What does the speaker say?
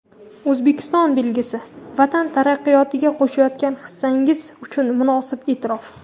"Oʼzbekiston belgisi" — vatan taraqqiyotiga qoʼshayotgan hissangiz uchun munosib eʼtirof.